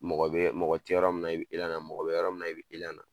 Mɔgɔ bɛ mɔgɔ tɛ yɔrɔ min na, i bi elan na, mɔgɔ bɛ yɔrɔ min i b i elan na!